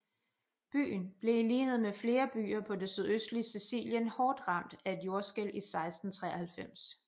Byen blev i lighed med flere byer på det sydøstlige Sicilien hårdt ramt af et jordskælv i 1693